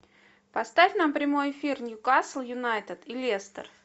поставь нам прямой эфир ньюкасл юнайтед и лестер